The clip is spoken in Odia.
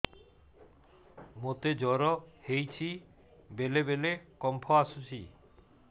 ମୋତେ ଜ୍ୱର ହେଇଚି ବେଳେ ବେଳେ କମ୍ପ ଆସୁଛି